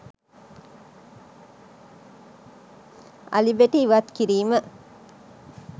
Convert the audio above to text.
අලි බෙටි ඉවත් කිරීම